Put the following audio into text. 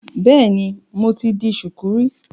Bẹ́ẹ̀ni, mo ti di ṣùkú rí.